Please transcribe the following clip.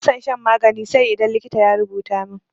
Bana son shan magani sai idan likita ya rubuta min.